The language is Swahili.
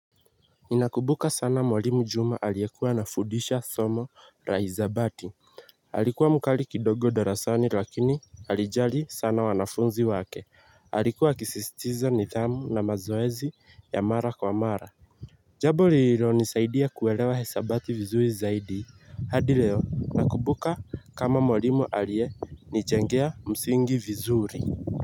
Ninakumbuka sana mwalimu juma aliyekuwa anafundisha somo la hisabati alikuwa mkali kidogo darasani lakini alijali sana wanafunzi wake alikuwa akisisitiza nidhamu na mazoezi ya mara kwa mara jambo lililo nisaidia kuelewa hesabati vizuri zaidi hadi leo nakumbuka kama mwalimu aliye nijengea msingi vizuri. Kwa hivyo.